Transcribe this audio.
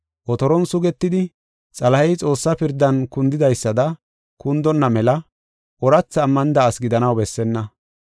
Otoron sugetidi, Xalahey Xoossaa pirdan kundidaysada kundonna mela, oorathi ammanida asi gidanaw bessenna.